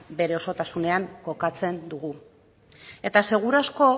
bere osotasunean kokatzen dugu eta seguru asko